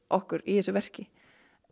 okkur í þessu verki